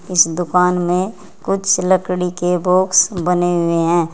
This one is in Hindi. उस दुकान में कुछ लकड़ी के बॉक्स बने हुए हैं।